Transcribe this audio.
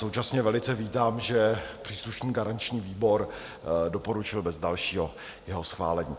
Současně velice vítám, že příslušný garanční výbor doporučil bez dalšího jeho schválení.